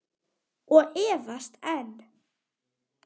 Og efast enn.